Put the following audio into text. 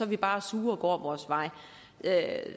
vi bare sure og går vores vej